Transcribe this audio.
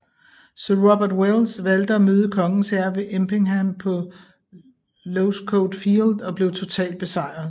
Sir Robert Welles valgte at møde kongens hær ved Empingham på Losecoat Field og blev totalt besejret